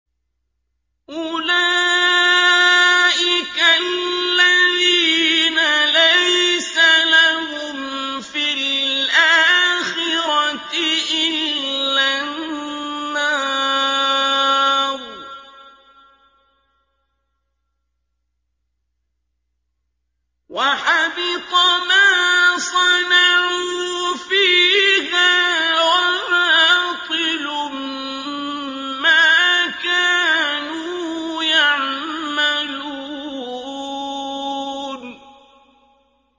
أُولَٰئِكَ الَّذِينَ لَيْسَ لَهُمْ فِي الْآخِرَةِ إِلَّا النَّارُ ۖ وَحَبِطَ مَا صَنَعُوا فِيهَا وَبَاطِلٌ مَّا كَانُوا يَعْمَلُونَ